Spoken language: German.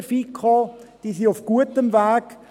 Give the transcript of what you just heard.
Sie sind auf gutem Weg.